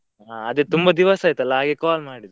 ಹಾ ಅದೇ ತುಂಬಾ ದಿವಸ ಆಯ್ತಲ್ಲಾ ಹಾಗೆ call ಮಾಡಿದ್ದು.